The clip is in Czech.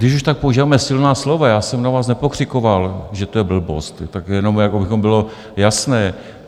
Když už tak používáme silná slova, já jsem na vás nepokřikoval, že to je blbost, tak jenom aby bylo jasné.